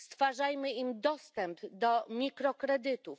Stwarzajmy im dostęp do mikrokredytów.